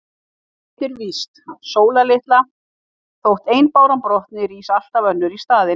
En eitt er víst, Sóla litla: Þótt ein báran brotni, rís alltaf önnur í staðinn.